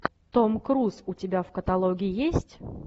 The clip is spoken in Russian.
том круз у тебя в каталоге есть